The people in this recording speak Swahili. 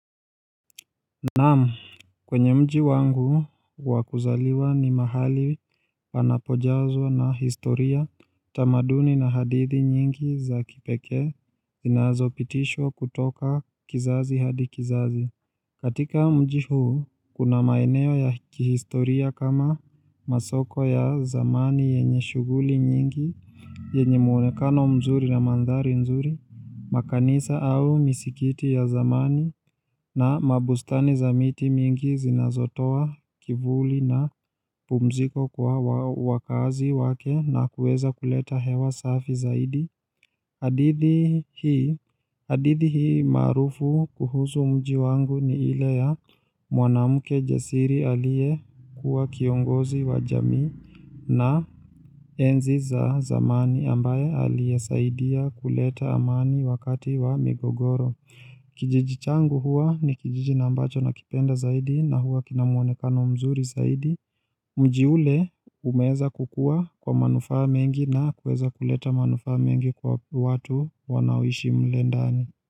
Naam, kwenye mji wangu wakuzaliwa ni mahali panapojazwa na historia tamaduni na hadithi nyingi za kipekee zinazopitishwa kutoka kizazi hadi kizazi. Katika mji huu, kuna maeneo ya kihistoria kama masoko ya zamani yenye shughuli nyingi, yenye mwonekano mzuri na mandhari nzuri, makanisa au misikiti ya zamani, na mabustani za miti mingi zinazotoa kivuli na pumziko kwa wakaazi wake na kuweza kuleta hewa safi zaidi. Hadithi hadithi hii maarufu kuhusu mji wangu ni ile ya mwanamke jasiri aliyekuwa kiongozi wa jamii na enzi za zamani ambaye aliyesaidia kuleta amani wakati wa migogoro. Kijiji changu huwa ni kijiji na ambacho nakipenda zaidi na huwa kina mwonekano mzuri zaidi. Mji ule umeweza kukuwa kwa manufaa mengi na kuweza kuleta manufaa mengi kwa watu wanaoishi mle ndani.